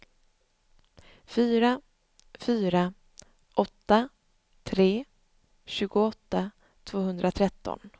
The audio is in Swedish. fyra fyra åtta tre tjugoåtta tvåhundratretton